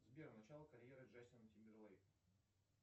сбер начало карьеры джастина тимберлейка